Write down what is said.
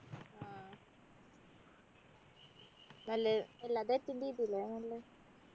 ആഹ് നല്ല എല്ലാതു attend ചെയ്തില്ലേ